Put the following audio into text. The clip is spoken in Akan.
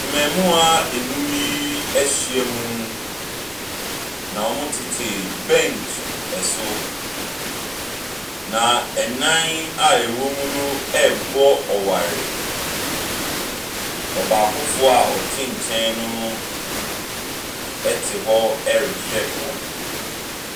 Mmaamua nnum yi ahyiam, na wɔtete bɛnkyi so, na nnan a wɔwɔ mu no rebɔ ɔware. Ɔbaakofoɔ a ɔte nkyɛn no te hɔ rehwɛ wɔn.